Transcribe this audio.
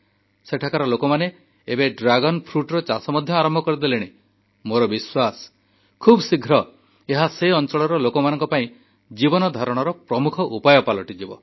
ସେଠାକାର ଲୋକମାନେ ଏବେ ଡ୍ରାଗନ ଫ୍ରୁଟ ଚାଷ ମଧ୍ୟ ଆରମ୍ଭ କରିଦେଲେଣି ମୋର ବିଶ୍ୱାସ ଖୁବ୍ଶୀଘ୍ର ଏହା ସେ ଅଞ୍ଚଳର ଲୋକମାନଙ୍କ ପାଇଁ ଜୀବନଧାରଣର ପ୍ରମୁଖ ଉପାୟ ପାଲଟିଯିବ